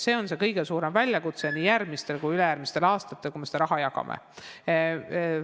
See on see kõige suurem väljakutse järgmistel aastatel, kui me seda raha jagame.